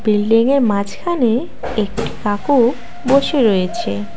বিল্ডিংয়ের মাঝখানে একটি কাকু বসে রয়েছে।